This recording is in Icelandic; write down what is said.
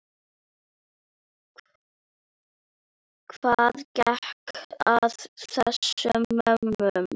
Hvað gekk að þessum mönnum?